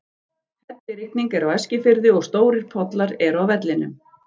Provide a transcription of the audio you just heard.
Hellirigning er á Eskifirði og stórir pollar eru á vellinum.